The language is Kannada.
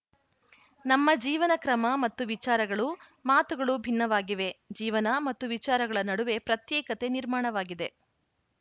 ನಮ್ಮ ಜೀವನ ಕ್ರಮ ಮತ್ತು ವಿಚಾರಗಳು ಮಾತುಗಳು ಭಿನ್ನವಾಗಿವೆ ಜೀವನ ಮತ್ತು ವಿಚಾರಗಳ ನಡುವೆ ಪ್ರತ್ಯೇಕತೆ ನಿರ್ಮಾಣವಾಗಿದೆ